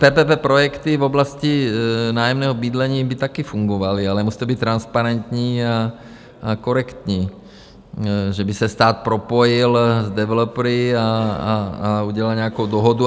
PPP projekty v oblasti nájemního bydlení by taky fungovaly, ale musí to být transparentní a korektní, že by se stát propojil s developery a udělal nějakou dohodu.